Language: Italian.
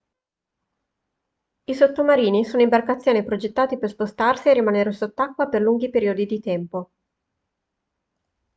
i sottomarini sono imbarcazioni progettate per spostarsi e rimanere sott'acqua per lunghi periodi di tempo